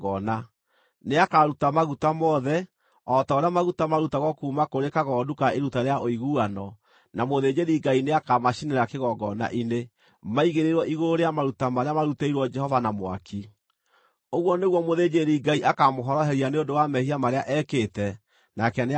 Nĩakaruta maguta mothe, o ta ũrĩa maguta marutagwo kuuma kũrĩ kagondu ka iruta rĩa ũiguano, na mũthĩnjĩri-Ngai nĩakamacinĩra kĩgongona-inĩ, maigĩrĩirwo igũrũ rĩa maruta marĩa marutĩirwo Jehova na mwaki. Ũguo nĩguo mũthĩnjĩri-Ngai akaamũhoroheria nĩ ũndũ wa mehia marĩa ekĩte, nake nĩakarekerwo.